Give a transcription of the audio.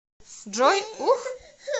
джой ух